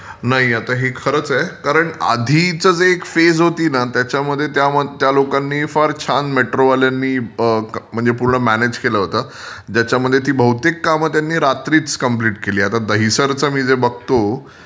नाही आता हे खरच आहे. कारण आधी जे एक फेज होती न त्याच्यामध्ये त्या लोकांनी फार छान मेट्रो वाल्यांनी म्हणजे पूर्ण म्यानेज केलं होतं. ज्याच्यामध्ये ती बहुतेक काम ती रात्रीच कम्प्लिट केली होती. दहिसरचं जे मी बघतो...